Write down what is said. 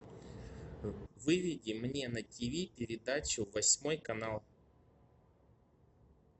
выведи мне на тиви передачу восьмой канал